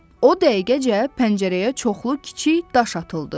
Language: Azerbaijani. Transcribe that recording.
O dəqiqəcə pəncərəyə çoxlu kiçik daş atıldı.